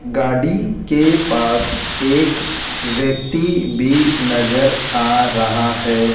गाड़ी के पास एक व्यक्ति भी नजर आ रहा है।